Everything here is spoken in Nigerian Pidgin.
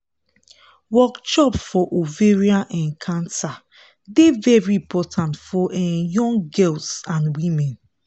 workshop for ovarian um cancer dey very important for um young girls and women